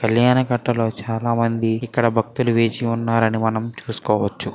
కల్యాణ కట్ట లో చాలా మంది ఇక్కడ భక్తులు వేచి ఉన్నారని మనం చూసుకోవచ్చు.